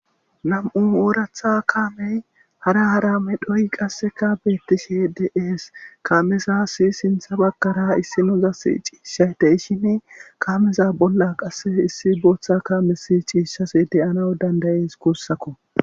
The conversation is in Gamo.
nam7u ooratha kaamey hara hara medhoy qasseka beettishe de7ees kaamezasi sintha baggara issinozasi ciishshay de'ishine kaameza bolla qasse issi booththa kaame si ciishase deyana dandayees guussakko